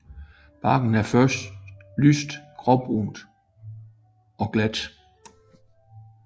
Barken er først lyst gråbrun og glat